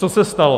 Co se stalo?